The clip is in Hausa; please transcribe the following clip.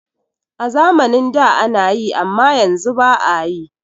A zamanin da anayi amma yanzu ba'a yi.